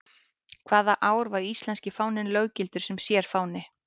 Hvaða ár var íslenski fáninn löggiltur sem sérfáni?